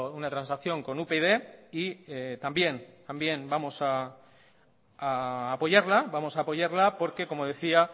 una transacción con upyd y también vamos a apoyarla porque como decía